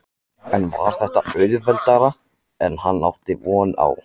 En var þetta auðveldara en hann átti von á?